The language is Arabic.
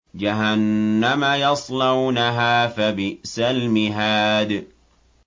جَهَنَّمَ يَصْلَوْنَهَا فَبِئْسَ الْمِهَادُ